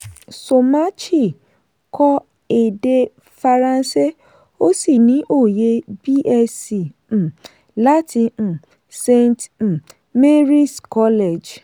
somachi kọ́ èdè faransé o sì ní oyè bsc um láti um saint um mary’s college.